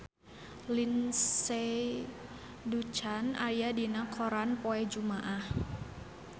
Lindsay Ducan aya dina koran poe Jumaah